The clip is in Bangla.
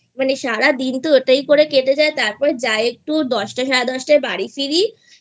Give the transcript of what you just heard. মানে সারাদিনতো ওটাই করে কেটে যায় তারপর যা একটু দশটা সাড়ে দশটায় বাড়ি ফিরি